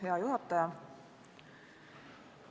Hea juhataja!